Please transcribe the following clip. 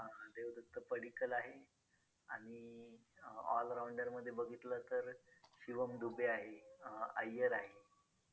अं देवदत्त पड्डीकल आहे आणि all rounder बघितलं तर शिवम दुबे आहे, अं अय्यर आहे.